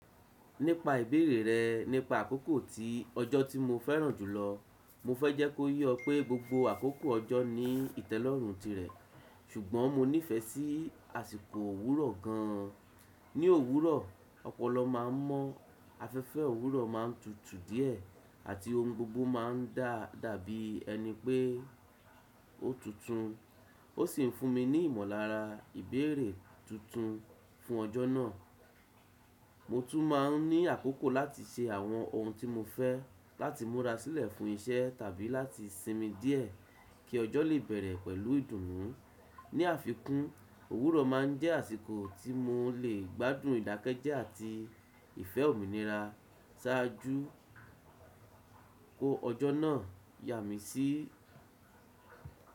Nípa ìbéèrè rẹ nípa àkókò ti ọjọ́ tí mo fẹ́ràn jùlọ, mo fẹ́ jẹ́ kó ye oọ pé gbogbo àkókò ọjọ́ ní ìtẹ́lọ́rùn tirẹ̀, ṣùgbọ́n mo nífẹ̀ẹ́ sí àsìkò òwúrọ̀ gan an. Ní òwúrọ̀, ọpọlọ ma ń mọ́, afẹ́fẹ́ òwúrọ̀ ma ń tutù díẹ̀, àti ohun gbogbo ma ń dàbí ẹni pé ó tuntun, ó sì ń fún mi ní ìmọ̀lára ìbéèrè tuntun fún ọjọ́ náà. Mo tún má n ní àkókò láti ṣe àwọn ohun tí mo fẹ́, láti múra sílẹ̀ fún iṣẹ́ tàbí láti sinmi díẹ̀ kí ọjọ́ lè bẹ̀rẹ̀ pẹ̀lú ìdùnnú. Ni àfikún, òwúrọ̀ ma ń jẹ́ àsìkò tí mo lè gbádùn ìdákẹ́jẹ́ àti ìfẹ́ òmìnira ṣáájú kó ọjọ́ náà yà mí sí.